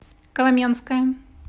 коломенское